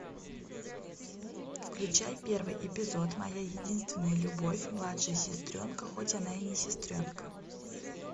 включай первый эпизод моя единственная любовь младшая сестренка хоть она и не сестренка